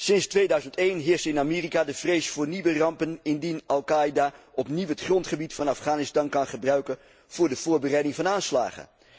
Sinds 2001 heerst in Amerika de vrees voor nieuwe rampen indien al Qaeda opnieuw het grondgebied van Afghanistan kan gebruiken voor de voorbereiding van aanslagen.